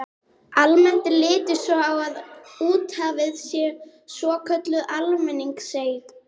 Almennt er litið svo á að úthafið sé svokölluð almenningseign.